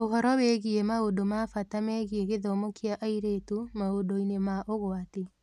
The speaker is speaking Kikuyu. Ũhoro wĩgiĩ maũndũ ma bata megiĩ gĩthomo kĩa airĩtu maũndũ-inĩ ma ũgwati.